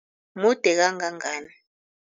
Mude kangangani?